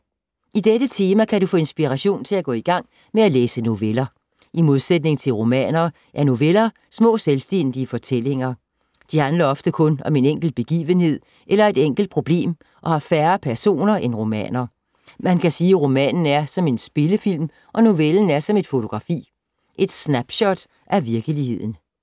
I dette tema kan du få inspiration til at gå i gang med at læse noveller. I modsætning til romaner er noveller små selvstændige fortællinger. De handler ofte kun om en enkelt begivenhed eller et enkelt problem og har færre personer end romaner. Man kan sige, at romanen er som en spillefilm og novellen er som et fotografi. Et snapshot af virkeligheden.